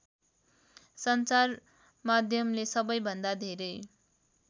सञ्चारमाध्यमले सबैभन्दा धेरै